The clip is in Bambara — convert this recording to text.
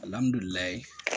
Alihamdulilayi